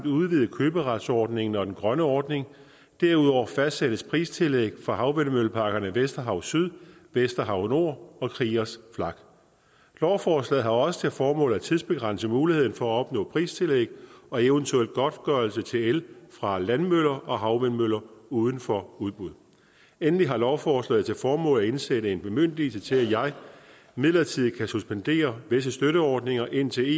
at udvide køberetsordningen og den grønne ordning derudover fastsættes pristillæg for havvindmølleparkerne vesterhav syd vesterhav nord og kriegers flak lovforslaget har også til formål at tidsbegrænse muligheden for at opnå pristillæg og eventuel godtgørelse til el fra landvindmøller og havvindmøller uden for udbud endelig har lovforslaget til formål at indsætte en bemyndigelse til at jeg midlertidigt kan suspendere visse støtteordninger indtil